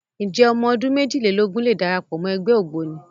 Ǹjẹ́ ọmọ ọdún méjìlélógún lè darapọ̀ wọ ẹgbẹ́ Ògboni?